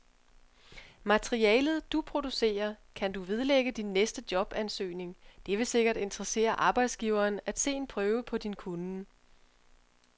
Materialet, du producerer, kan du vedlægge din næste jobansøgning, det vil sikkert interessere arbejdsgiveren at se en prøve på din kunnen.